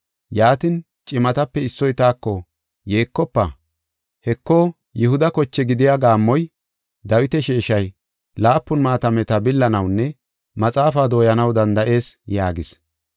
Yaatin, cimatape issoy taako, “Yeekofa! Heko, Yihuda koche gidiya gaammoy, Dawita sheeshay, laapun maatameta billanawunne maxaafaa dooyanaw danda7is” yaagis.